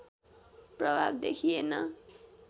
प्रभाव देखिएन